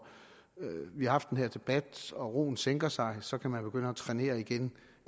vi har haft den her debat og roen sænker sig så kan begynde at trænere igen